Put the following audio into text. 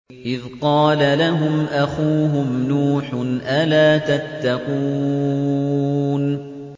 إِذْ قَالَ لَهُمْ أَخُوهُمْ نُوحٌ أَلَا تَتَّقُونَ